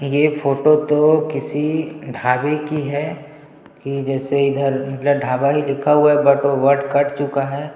ये फोटो तो किसी ढाबे की है की जैसे इधर ढाबा ही लिखा हुआ हैं बट वो बट कट चूका है।